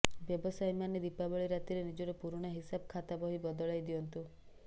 ବ୍ୟବସାୟୀମାନେ ଦୀପାବଳୀ ରାତିରେ ନିଜର ପୁରୁଣା ହିସାବ ଖାତାବହି ବଦଳାଇ ଦିଅନ୍ତୁ